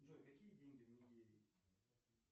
джой какие деньги в нигерии